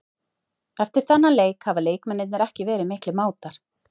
Eftir þennan leik hafa leikmennirnir ekki verið miklir mátar.